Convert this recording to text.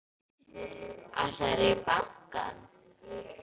Ætlarðu í bankann?